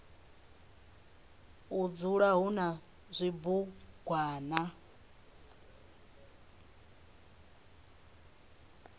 u dzula hu na zwibugwana